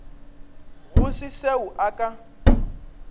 go se seo a ka